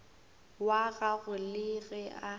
wa gagwe le ge a